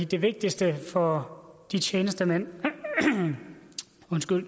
det vigtigste for de tjenestemænd